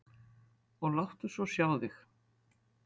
Og láttu svo sjá þig.